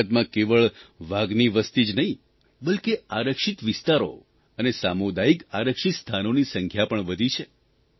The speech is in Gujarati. ભારતમાં કેવળ વાઘની વસતિ જ નહિં બલ્કે આરક્ષિત વિસ્તારો અને સામુદાયિક આરક્ષિત સ્થાનોની સંખ્યા પણ વધી છે